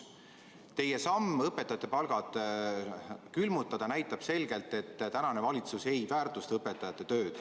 Teie samm õpetajate palgad külmutada näitab selgelt, et tänane valitsus ei väärtusta õpetajate tööd.